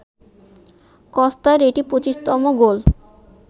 কস্তার এটি ২৫তম গোল